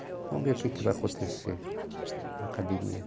Vamos ver o que vai acontecer na academia.